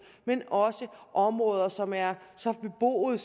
men også områder som er så beboede